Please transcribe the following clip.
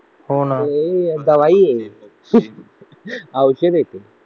हो ना नाहीये दवाई है औषध आहे ते